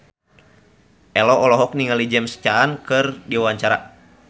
Ello olohok ningali James Caan keur diwawancara